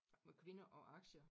Med kvinder og aktier